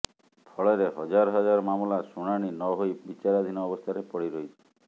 ଫଳରେ ହଜାର ହଜାର ମାମଲା ଶୁଣାଣି ନ ହୋଇ ବିଚାରାଧୀନ ଅବସ୍ଥାରେ ପଡ଼ି ରହିଛି